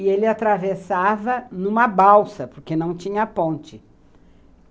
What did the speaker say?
E ele atravessava numa balsa, porque não tinha ponte.